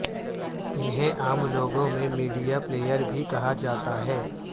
انہیں عام لوگوں میں میڈیا پلیئر بھی کہا جاتا ہے